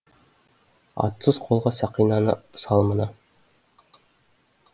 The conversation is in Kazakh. атсыз қолға сақинаны сал мына